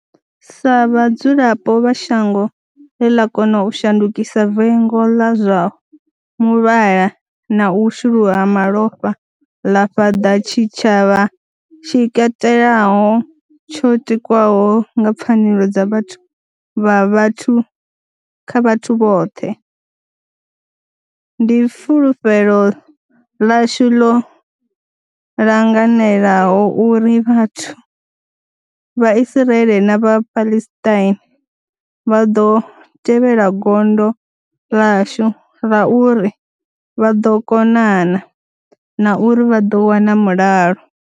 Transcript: Sa vhadzulapo vha shango ḽe ḽa kona u shandukisa vengo ḽa zwa muvhala na u shuluwa ha malofha ḽa fhaṱa tshitshavha tshi katelaho tsho tikwaho nga pfanelo dza vhathu kha vhathu vhoṱhe, ndi fulufhelo ḽashu ḽo langanelaho uri vhathu vha Israel na vha Palestine vha ḓo tevhela gondo ḽashu ḽa uri vha ḓo konana, na uri vha ḓo wana mulalo.